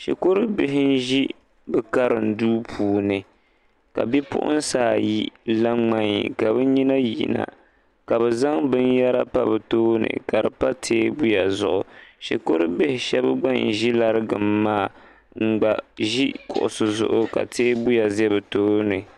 Shikuru bihi n-ʒi bɛ karim duu puuni ka bipuɣinsi ayi la ŋmaii! ka bɛ nyina yina ka bɛ zaŋ binyɛra pa bɛ tooni ka di pa teebuya zuɣu shikur' bihi shɛba gba n-ʒi larigim maa n-gba ʒi kuɣisi zuɣu ka teebuya za bɛ tooni.